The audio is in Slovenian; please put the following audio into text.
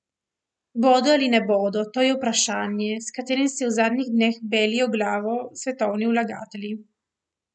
Bodo ali ne bodo, to je vprašanje, s katerim si v zadnjih dneh belijo glavo svetovni vlagatelji.